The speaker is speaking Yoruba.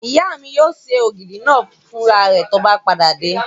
Ìyá mi yóò ṣe ògidì náà fún ra rẹ̀ tó bá padà dé